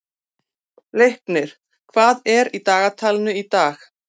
Leiknir, hvað er í dagatalinu í dag?